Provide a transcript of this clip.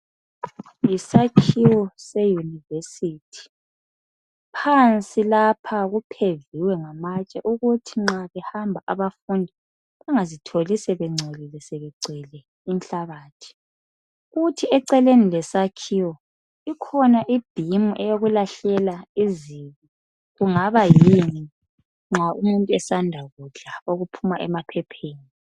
Yisakhiwo seyunivesithi. Phansi lapha kupheviwe ngamatshe ukuthi nxa behamba abafundi bangazitholi sebengcolile sebegcwele inhlabathi. Kuthi eceleni lesakhiwo, ikhona ibhimu eyokulahlela izibi, kungaba yini nxa umuntu esanda kudla okuphuma emaphepheni.